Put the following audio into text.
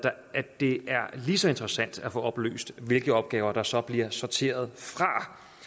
det er lige så interessant at få oplyst hvilke opgaver der så bliver sorteret fra